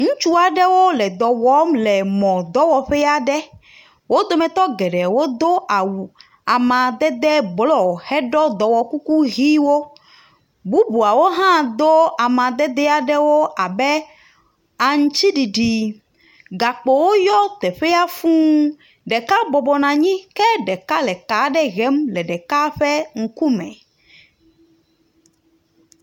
Ŋutsu aɖewo le dɔ wɔm le mɔ dɔwɔƒe aɖe. Wo dometɔ geɖe wo do awu amadede blɔ hedo dɔwɔ kuku ʋiwo. Bubuawo hã do ameded aɖewo abe aŋtsiɖiɖi. Gakpowo yɔ teƒea fuu. Ɖeka bɔbɔnɔ anyi ke ɖeka le ka aɖe hm le ɖeka ƒe ŋkume.